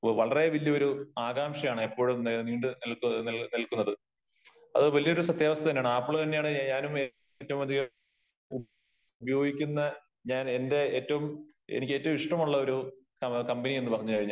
വളരെ വലിയ ഒരു ആകാംക്ഷയാണ് എപ്പോഴും അത് വലിയ ഒരു സത്യാവസ്ഥ തന്നെയാണ് ആപ്പിള് തന്നെയാണ് ഞാനും ഏറ്റവും അതികം ഉപയോഗിക്കുന്ന ഞാൻ എന്റെ ഏറ്റവും എനിക്ക്ഏറ്റവും ഇഷ്ടമുള്ള ഒരു കമ്പനി എന്ന് പറഞ്ഞു കഴിഞ്ഞാൽ